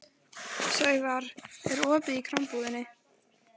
Sævarr, er opið í Krambúðinni?